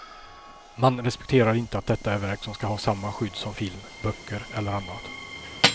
Man respekterar inte att detta är verk som ska ha samma skydd som film, böcker eller annat.